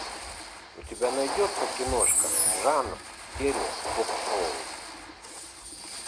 у тебя найдется киношка жанр теле ток шоу